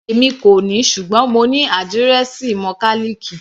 Èmi kò ní, ṣùgbọ́n mo ní àdírẹ́ẹ̀sì mọkálìkì.